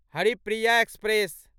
Haripriya express